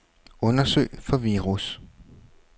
Undersøg for virus.